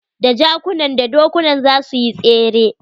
Da jakunan da dokunan za suyi tsere.